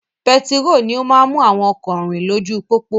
Pẹtiró ni ó máa ń mú àwọn ọkọ rìn lójú pópó